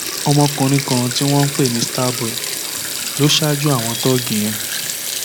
ọmọkùnrin kan tí wọn ń pè ní star boy lọ ṣáájú àwọn tóògì yẹn